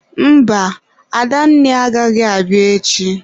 Mba, Adanne agaghị abịa echi.